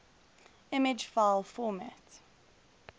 image file format